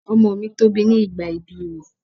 Ọmọ mi tóbi ní ìgbà ibí rẹ̀.